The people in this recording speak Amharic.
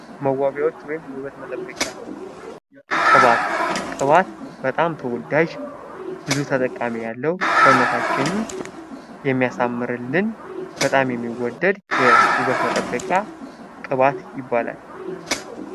መዋቢያዎች ወይም የውበት መጠበቂያዎች ፡-ቅባት በጣም ተወዳጅ ብዙ ተጠቃሚዎች ያለው ሰውነታችንን የሚያሳምርልን በጣም የሚወደድ የውበት መጠበቂያ ቅባት ይባላል።